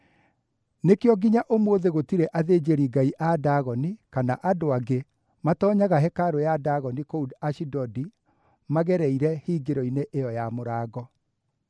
Nĩkĩo nginya ũmũthĩ gũtirĩ athĩnjĩri-ngai a Dagoni kana andũ angĩ matoonyaga hekarũ ya Dagoni kũu Ashidodi magereire hingĩro-inĩ ĩyo ya mũrango.